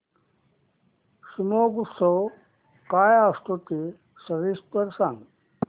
शिमगोत्सव काय असतो ते सविस्तर सांग